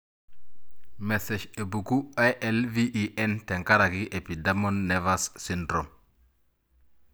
Mesesh epuku ILVEN tenkaraki epidermal nevus syndrome.